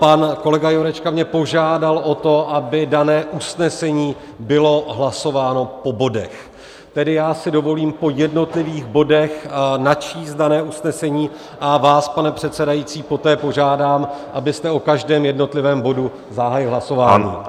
Pan kolega Jurečka mě požádal o to, aby dané usnesení bylo hlasováno po bodech, tedy já si dovolím po jednotlivých bodech načíst dané usnesení, a vás, pane předsedající, poté požádám, abyste o každém jednotlivém bodu zahájil hlasování.